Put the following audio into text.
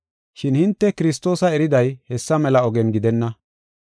Shin hinte Kiristoosa eriday hessa mela ogen gidenna.